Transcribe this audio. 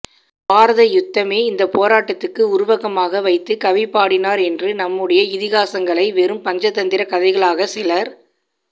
பாரத யுத்தமே இந்தப் போராட்டத்துக்கு உருவகமாக வைத்துக் கவி பாடினார் என்று நம்முடைய இதிகாசங்களை வெறும் பஞ்சதந்திரக் கதைகளாகச் சிலர்